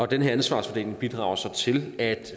den her ansvarsfordeling bidrager så til at